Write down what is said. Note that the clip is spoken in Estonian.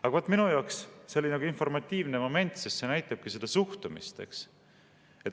Aga minu jaoks on see selline informatiivne moment, sest see näitabki suhtumist.